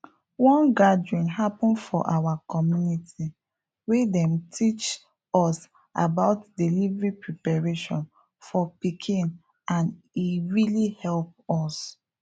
one gathering happen for our community where them teachs us about delivery preparation for pikin and e really help us